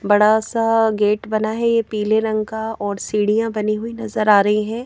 बड़ा सा गेट बना है ये पीले रंग का और सीढ़ियां बनी हुई नजर आ रही हैं।